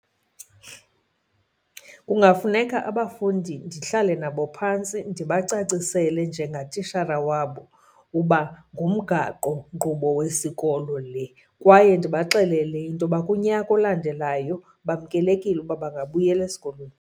Kungafuneka abafundi ndihlale nabo phantsi ndibacacisele njengatishara wabo uba ngumgaqonkqubo wesikolo le kwaye ndibaxelele into yoba kunyaka olandelayo bamkelekile uba bangabuyela esikolweni.